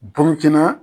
Burukina